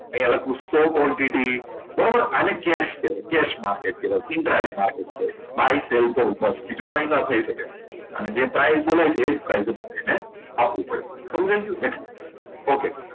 અહીંયા લખું સો quantity અને cash કહેવાય case market કહેવાય buy sell કરો બીજું કંઈ ના થઈ શકે અને જે price બોલાય છે એ જ price સમજીને આપવું પડે સમજાઈ ગયું okay